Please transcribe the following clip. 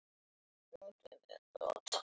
Haukur: Tekurðu undir það?